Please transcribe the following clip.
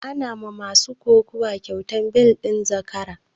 Ana ma masu kokuwa kyautan bel ɗin zakara